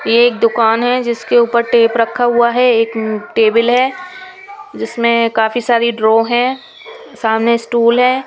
ये एक दुकान है जिसके ऊपर टेप रखा हुआ है। एक टेबल है जिसमें काफी सारी ड्रॉ है सामने स्टूल है।